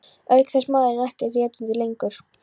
Auk þess er maðurinn ekkert réttarvitni lengur.